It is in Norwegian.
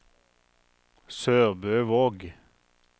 SørbØvåg